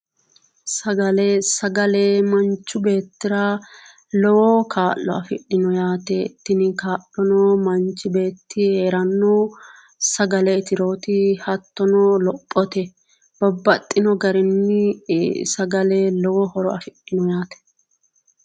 Sagale mancho beettira lowo kaa'lo afidhinno yaate tinni kaa'lono mancho beeti sagale itirootti heera dandaannohu hatto o lophote babaxino garinni sagale lowo horo afidhinno yaate